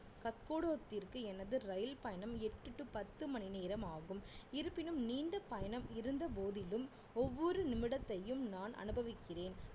கத்கோடத்திற்கு எனது ரயில் பயணம் எட்டு to பத்து மணி நேரம் ஆகும் இருப்பினும் நீண்ட பயணம் இருந்த போதிலும் ஒவ்வொரு நிமிடத்தையும் நான் அனுபவிக்கிறேன்